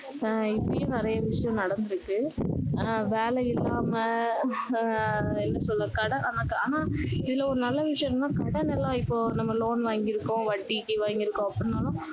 ஆஹ் இப்படியும் நிறைய விஷயம் நடந்து இருக்கு அஹ் வேலை இல்லாம ஆஹ் என்ன சொல்ல ஆனா இதுல ஒரு நல்ல விஷயம் என்னன்னா கடன் எல்லாம் இப்போ நம்ம loan வாங்கி இருக்கோம் வட்டிக்கு வாங்கி இருக்கோம் அப்படின்னாலும்